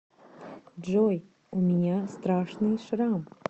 джой у меня страшный шрам